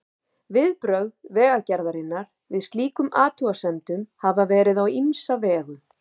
Viðbrögð Vegagerðarinnar við slíkum athugasemdum hafa verið á ýmsa vegu.